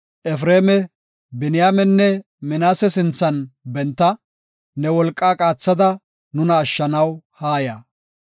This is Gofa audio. Efreema, Biniyaamenne Minaase sinthan benta; ne wolqaa qaathada nuna ashshanaw haaya.